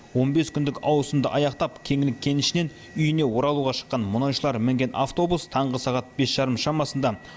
он бес күндік ауысымды аяқтап кеңлік кенішінен үйіне оралуға шыққан мұнайшылар мінген автобус таңғы сағат бес жарым шамасында